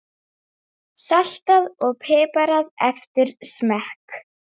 Og það stöðugt vaxandi hluti.